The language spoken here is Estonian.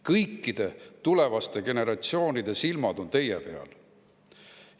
Kõikide tulevaste generatsioonide silmad on teie peal.